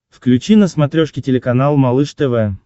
включи на смотрешке телеканал малыш тв